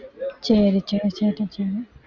சரி சரி சரி